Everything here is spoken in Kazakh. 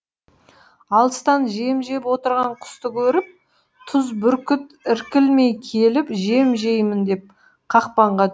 алыстан жем жеп отырған құсты көріп түз бүркіт іркілмей келіп жем жеймін деп қақпанға